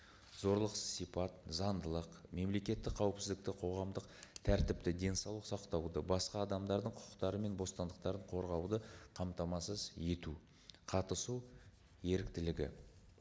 зорлықсыз сипат заңдылық мемлекеттік қауіпсіздікті қоғамдық тәртіпті денсаулық сақтауды басқа адамдардың құқықтары мен бостандықтарын қорғауды қамтамасыз ету қатысу еріктілігі